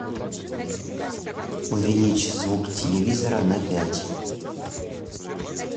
увеличь звук телевизора на пять